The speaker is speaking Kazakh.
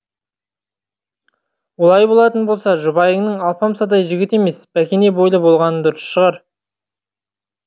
олай болатын болса жұбайыңның алпамсадай жігіт емес бәкене бойлы болғаны дұрыс шығар